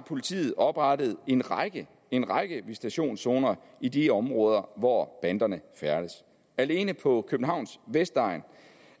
politiet oprettet en række en række visitationszoner i de områder hvor banderne færdes alene på københavns vestegn